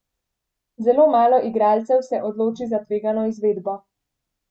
Zelo malo igralcev se odloči za tvegano izvedbo.